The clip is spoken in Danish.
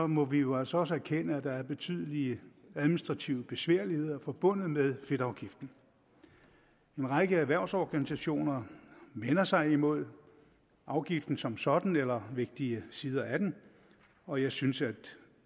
må vi jo altså også erkende at der er betydelige administrative besværligheder forbundet med fedtafgiften en række erhvervsorganisationer vender sig imod afgiften som sådan eller vigtige sider af den og jeg synes at